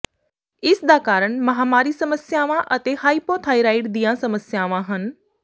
ਇਸ ਦਾ ਕਾਰਨ ਮਾਹਵਾਰੀ ਸਮੱਸਿਆਵਾਂ ਅਤੇ ਹਾਈਪੋਥਰਾਇਡ ਦੀਆਂ ਸਮੱਸਿਆਵਾਂ ਹਨ